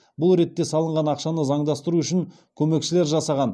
бұл ретте алынған ақшаны заңдастыру үшін көмекшілер жасаған